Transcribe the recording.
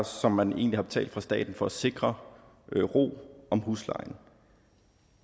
som man egentlig har betalt fra statens side for at sikre ro om huslejen